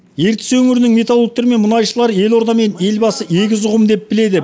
ертіс өңірінің металлургтері мен мұнайшылары елорда мен елбасы егіз ұғым деп біледі